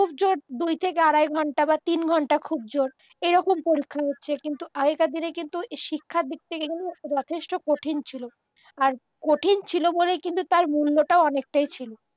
খুব জোর দুই থেকে আড়াই ঘণ্টা বা তিন ঘণ্টা খুব জোর এরকম পরীক্ষা হচ্ছে কিন্তু আগেরকারদিনে কিন্তু শিক্ষার দিক থেকে কিন্তু যথেষ্ট কঠিন ছিল আর কঠিন ছিল বলেই কিন্তু তার মূল্যটাও অনেকটাই ছিল